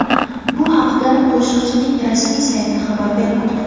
Bu haqda qo‘shiqchining rasmiy sayti xabar bermoqda .